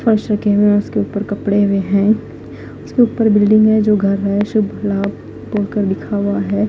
First जो कमरा है उसके ऊपर कपड़े भी है उसके ऊपर बिल्डिंग भी है जो घर में दिखावा है।